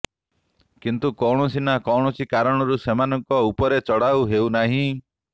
କିନ୍ତୁ କୌଣସି ନା କୌଣସି କାରଣରୁ ସେମାନଙ୍କ ଉପରେ ଚଢ଼ାଉ ହେଉନାହିଁ